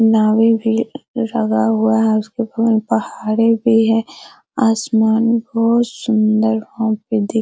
नावे भी लगा हुआ है उसके बगल में पहाड़े भी है आसमान बहुत सुंदर वहां पे दिख --